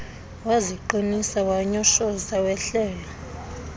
waziqinisa wanyoshoza wehlela